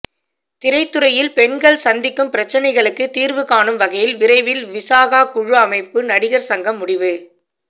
திரைத்துறையில் பெண்கள் சந்திக்கும் பிரச்னைகளுக்கு தீர்வு காணும் வகையில் விரைவில் விசாகா குழு அமைக்க நடிகர் சங்கம் முடிவு